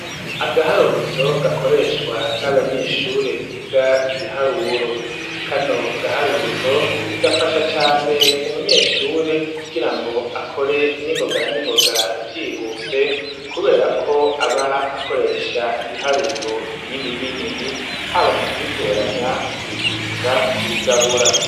agaharuzo gakoreshwa n'abanyeshure biga ibiharuro kano gaharuzo gafasha cane umunyeshure kugira ngo akore n'ingogana n'ingoga vyihuse kubera ko aba akoresha ibiharuro binini binini haba mu kubiteranya kubigwiza kubigabura.